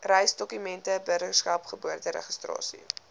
reisdokumente burgerskap geboorteregistrasie